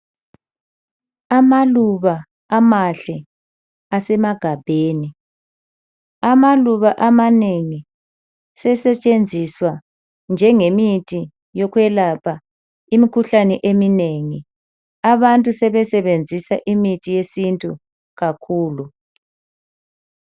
Amaluba amahle asemagabheni. Amaluba amanengi sesetshesetshenziswa njengemithi yokwelapha imikhuhlane eminengi. Abantu sebesebenzisa imithi yesintu kakhulu.